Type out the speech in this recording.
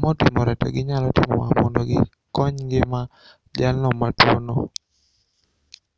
ma otimore to ginyalo timo ma mondogikony ngima jalno matuono.